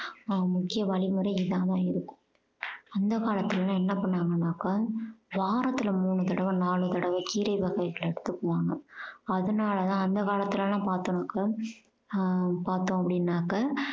முக்கிய வழிமுறைகள் இதா தான் இருக்கும் அந்த காலத்துல எல்லாம் என்ன பண்ணாங்கனாக்க வாரத்துல மூணு தடவை நாலு தடவை கீரை வகைகள் எடுத்துக்குவாங்க அதனாலதான் அந்த காலத்துல எல்லாம் பார்த்தாக்க ஹம் பார்த்தோம் அப்படின்னாக்க